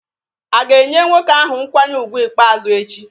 A ga-enye nwoke ahụ nkwanye ùgwù ikpeazụ echi?